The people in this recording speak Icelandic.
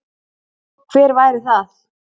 Hver væri það?